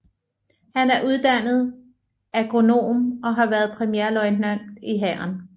Han er uddannet agronom og har været premierløjtnant i Hæren